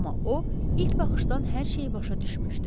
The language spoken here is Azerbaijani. Amma o, ilk baxışdan hər şeyi başa düşmüşdü.